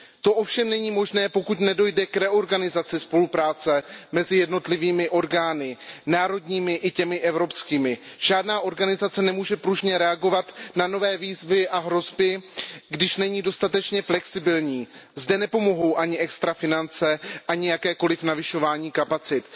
To ovšem není možné, pokud nedojde k reorganizaci spolupráce mezi jednotlivými orgány, národními i těmi evropskými. Žádná organizace nemůže pružně reagovat na nové výzvy a hrozby, když není dostatečně flexibilní. Zde nepomohou ani extra finance, ani jakékoliv navyšování kapacit.